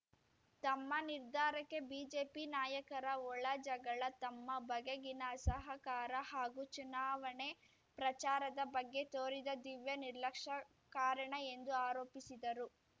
ತಮ್ಮ ನಿರ್ಧಾರಕ್ಕೆ ಬಿಜೆಪಿ ನಾಯಕರ ಒಳ ಜಗಳ ತಮ್ಮ ಬಗೆಗಿನ ಅಸಹಕಾರ ಹಾಗೂ ಚುನಾವಣೆ ಪ್ರಚಾರದ ಬಗ್ಗೆ ತೋರಿದ ದಿವ್ಯ ನಿರ್ಲಕ್ಷ್ಯ ಕಾರಣ ಎಂದು ಆರೋಪಿಸಿದರು